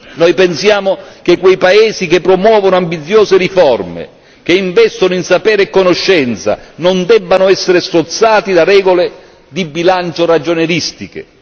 Noi pensiamo che quei paesi che promuovono ambiziose riforme e che investono in sapere e conoscenza non debbano essere strozzati da regole di bilancio ragionieristiche.